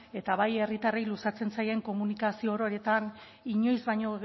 eta bai herritarrei luzatzen zaien komunikazio ororetan inoiz baino